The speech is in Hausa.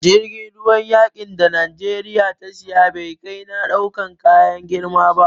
Jirgin ruwan yaƙin da Najeriya ta siya, bai kai na ɗaukan kaya girma ba.